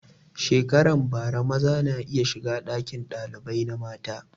Shekaran bara maza na iya shiga ɗakin ɗalibai na mata